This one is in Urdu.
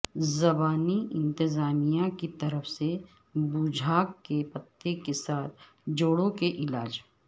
زبانی انتظامیہ کی طرف سے بوجھاک کے پتے کے ساتھ جوڑوں کے علاج